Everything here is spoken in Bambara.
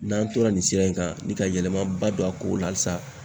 N'an tora nin sira in kan ni ka yɛlɛmaba don a ko la halisa.